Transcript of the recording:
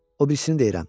O birisini deyirəm.